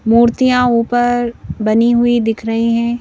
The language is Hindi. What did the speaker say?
मूर्तियां ऊपर बनी हुई दिख रही है।